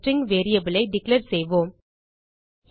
ஒரு string variable ஐ declare செய்வோம்